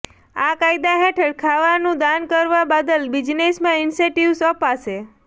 આ કાયદા હેઠળ ખાવાનું દાન કરાવા બદલ બિઝનેસમાં ઇન્સેંટિવ્સ અપાશે